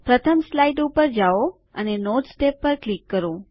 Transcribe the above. પ્રથમ સ્લાઇડ પર જાઓ અને નોટ્સ ટેબ પર ક્લિક કરો